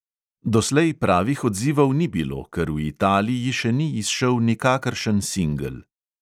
Doslej pravih odzivov ni bilo, ker v italiji še ni izšel nikakršen singel.